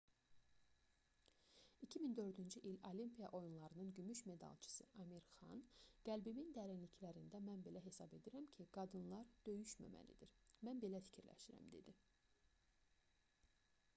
2004-cü il olimpiya oyunlarının gümüş medalçısı amir xan qəlbimin dərinliklərində mən belə hesab edirəm ki qadınlar döyüşməməlidir mən belə fikirləşirəm dedi